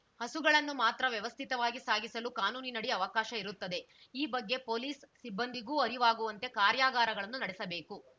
ಹಸುಗಳನನ್ನು ಮಾತ್ರ ವ್ಯವಸ್ಥಿತವಾಗಿ ಸಾಗಿಸಲು ಕಾನೂನಿನಡಿ ಅವಕಾಶ ಇರುತ್ತದೆ ಈ ಬಗ್ಗೆ ಪೊಲೀಸ್‌ ಸಿಬ್ಬಂದಿಗೂ ಅರಿವಾಗುವಂತೆ ಕಾರ್ಯಾಗಾರಗಳನ್ನು ನಡೆಸಬೇಕು